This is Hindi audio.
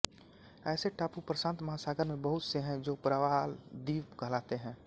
ऐसे टापू प्रशांत महासागर में बहुत से हैं जो प्रवालद्वीप कहलाते हैं